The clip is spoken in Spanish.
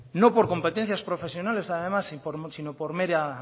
no por competencias profesionales además sino por mera